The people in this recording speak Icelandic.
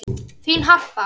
Þín, Harpa.